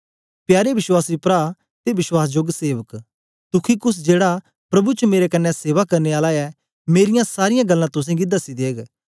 प्यारे विश्वासी प्रा ते वश्वासजोग सेवक तुखिकुस जेड़ा प्रभु च मेरे कन्ने सेवा करने आला ऐ मेरीयां सारीयां गल्लां तुसेंगी दसी देग